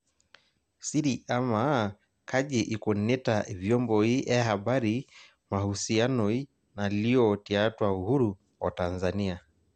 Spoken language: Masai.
siri amaa kaji ikunita ivyomboi ee habari mahusianoi naalio tiatwa uhuru oo tanzania